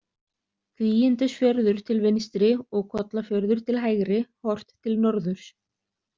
Kvígindisfjörður til vinstri og Kollafjörður til hægri, horft til norðurs.